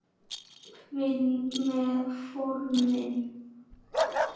Vinn með formin.